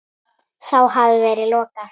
Þá hafi verið lokað.